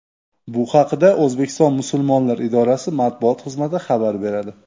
Bu haqda O‘zbekiston musulmonlari idorasi matbuot xizmati xabar beradi .